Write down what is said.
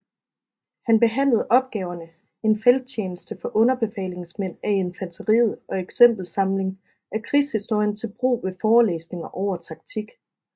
Han behandlede opgaverne En Felttjeneste for Underbefalingsmænd af Infanteriet og Exempelsamling af Krigshistorien til Brug ved Forelæsninger over Taktik